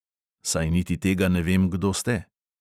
Saj niti tega ne vem, kdo ste.